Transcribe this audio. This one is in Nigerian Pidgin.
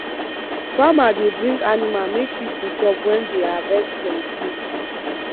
farmer dey bring animal make people chop when dey harvest plenty